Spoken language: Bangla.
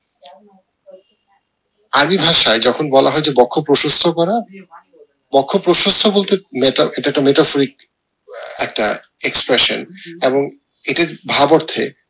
আদি ভাষায় যখন বলা হয় যে বক্ষ প্রশস্ত করা বক্ষ প্রশস্ত বলতে একটা expression এবং এটির ভাব অর্থে